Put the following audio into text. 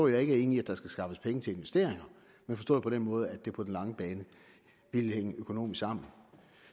jeg ikke er enig i at der skal skaffes penge til investeringer men forstået på den måde at det på den lange bane ville hænge økonomisk sammen